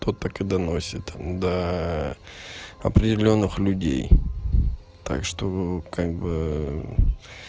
тот так и доносит там до определённых людей так что как бы